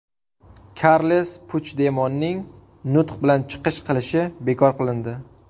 Karles Puchdemonning nutq bilan chiqish qilishi bekor qilindi.